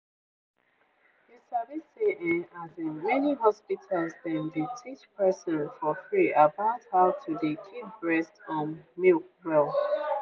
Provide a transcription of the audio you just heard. you sabi say[um]as in many hospital dem dey teach person for free about how to dey keep breast um milk well.